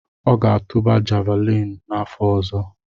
Ọ ga-atụba javuliini n’afọ ọzọ.